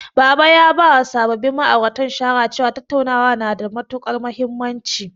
Baba ya bawa sababbin ma'auratan shawara cewa, tattauna na da matuƙar mahimmanci.